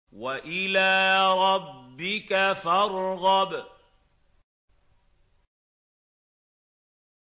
وَإِلَىٰ رَبِّكَ فَارْغَب